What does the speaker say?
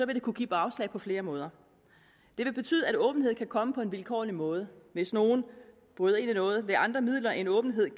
det kunne give bagslag på flere måder det vil betyde at åbenhed kan komme på en vilkårlig måde hvis nogen bryder ind i noget ved andre midler end åbenhed